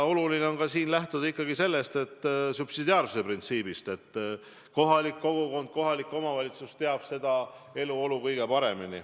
Oluline on lähtuda ikkagi subsidiaarsuse printsiibist, et kohalik kogukond, kohalik omavalitsus teab igaühe eluolu kõige paremini.